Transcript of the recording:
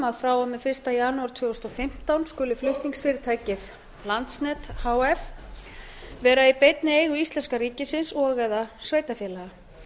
að frá og með fyrsta janúar tvö þúsund og fimmtán skuli flutningsfyrirtækið landsnet h f vera í beinni eigu íslenska ríkisins og eða sveitarfélaga